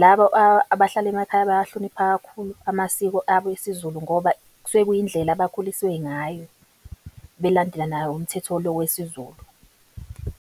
labo abahlala emakhaya bayahlonipha kakhulu amasiko abo esiZulu ngoba kusuke kuyindlela abakhuliswe ngayo, belandela nawo umthetho lo wesiZulu.